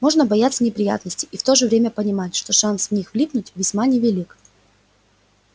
можно бояться неприятностей и в то же время понимать что шанс в них влипнуть весьма невелик